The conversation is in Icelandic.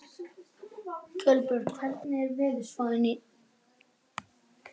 Kolbjörg, hvernig er veðurspáin?